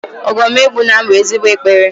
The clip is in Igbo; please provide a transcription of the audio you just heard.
Ogo m egbuna m bu ezigbo ekpere